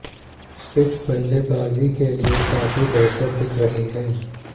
pitch बल्लेबाजी के लिए काफी बेहतर दिख रही है